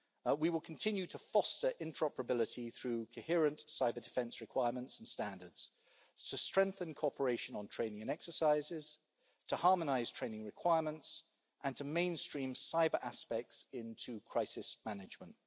We will continue to foster interoperability through coherent cyber-defence requirements and standards, to strengthen cooperation on training exercises, to harmonise training requirements and to mainstream cyber aspects into crisis management.